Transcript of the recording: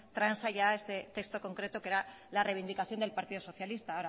transa ya este texto concreto que era la reivindicación del partido socialista